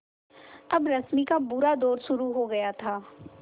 अब रश्मि का बुरा दौर शुरू हो गया था